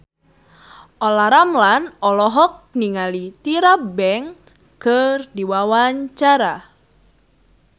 Olla Ramlan olohok ningali Tyra Banks keur diwawancara